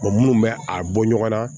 munnu bɛ a bɔ ɲɔgɔn na